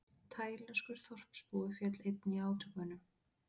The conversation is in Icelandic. Taílenskur þorpsbúi féll einnig í átökunum